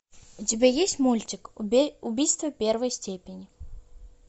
у тебя есть мультик убийство первой степени